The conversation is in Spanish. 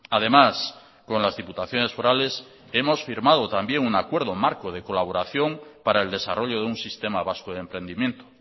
además con las diputaciones forales hemos firmado también un acuerdo marco de colaboración para el desarrollo de un sistema vasco de emprendimiento